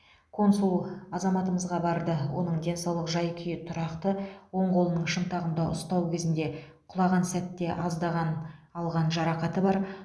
консул азаматымызға барды оның денсаулық жай күйі тұрақты оң қолының шынтағында ұстау кезінде құлаған сәтте алған аздаған жарақаты бар